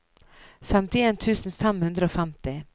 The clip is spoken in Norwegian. femtien tusen fem hundre og femti